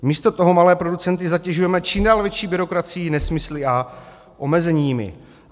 Místo toho malé producenty zatěžujeme čím dál větší byrokracií, nesmysly a omezeními.